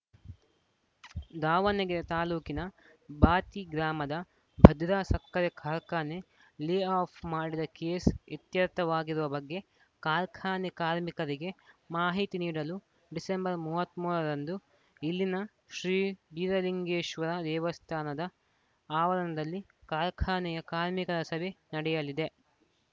ದಾವಣಗೆರೆ ತಾಲೂಕಿನ ಬಾತಿ ಗ್ರಾಮದ ಭದ್ರಾ ಸಕ್ಕರೆ ಕಾರ್ಖಾನೆ ಲೇ ಆಫ್‌ ಮಾಡಿದ ಕೇಸ್‌ ಇತ್ಯರ್ಥವಾಗಿರುವ ಬಗ್ಗೆ ಕಾರ್ಖಾನೆ ಕಾರ್ಮಿಕರಿಗೆ ಮಾಹಿತಿ ನೀಡಲು ಡಿಸೆಂಬರ್ ಇಪ್ಪತ್ತ್ ಮೂರ ರಂದು ಇಲ್ಲಿನ ಶ್ರೀ ಬೀರಲಿಂಗೇಶ್ವರ ದೇವಸ್ಥಾನದ ಆವರಣದಲ್ಲಿ ಕಾರ್ಖಾನೆಯ ಕಾರ್ಮಿಕರ ಸಭೆ ನಡೆಯಲಿದೆ